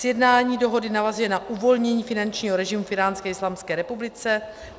Sjednání dohody navazuje na uvolnění finančního režimu v Íránské islámské republice.